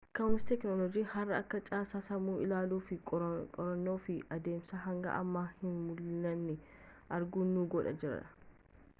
ka'umsi teeknoolojii haaraa akka caasaa sammuu ilaalluu fi qorannuu fi adeemsa hanga amma hin mul'anne arginu nu godhee jira